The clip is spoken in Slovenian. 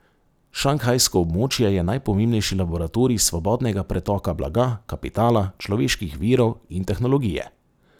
Šanghajsko območje je najpomembnejši laboratorij svobodnega pretoka blaga, kapitala, človeških virov in tehnologije.